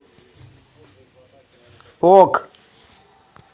ок